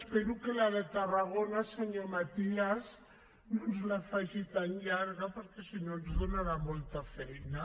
espero que la de tarragona senyor matías no ens la faci tan llarga perquè sinó ens donarà molta feina